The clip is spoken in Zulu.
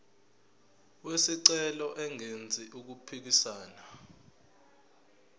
wesicelo engenzi okuphikisana